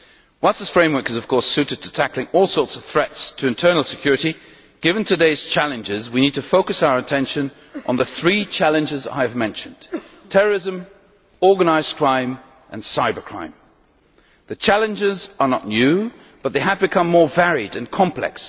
Whilst this framework is of course suited to tackling all sorts of threats to internal security, given today's challenges we need to focus our attention on the three challenges I have mentioned terrorism, organised crime and cybercrime. The challenges are not new but they have become more varied and complex.